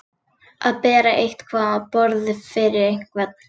Að bera eitthvað á borð fyrir einhvern